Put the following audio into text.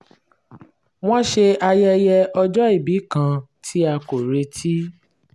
wọ́n ṣe ayẹyẹ ọjọ́ ìbí kan tí a kò retí